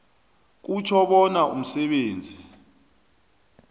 kutjho bona umsebenzi